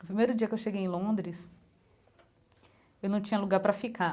O primeiro dia que eu cheguei em Londres, eu não tinha lugar para ficar.